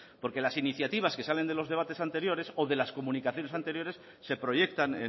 porque las iniciativas que salen de los debates anteriores o de las comunicaciones anteriores se proyectan